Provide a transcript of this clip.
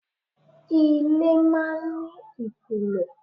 Ilé máa ń ní ìpìlẹ̀.